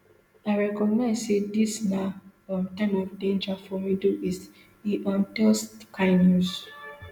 i recognise say dis na um time of danger for middle east e um tell sky news